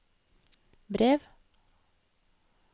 brev